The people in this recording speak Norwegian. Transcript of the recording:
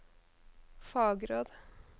fagråd